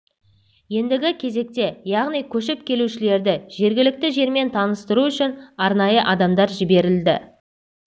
ендігі кезекте оларды яғни көшіп келушілерді жергілікті жермен таныстыру үшін арнайы адамдар жіберілді